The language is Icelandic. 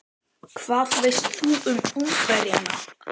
En hvað veist þú um Ungverjana?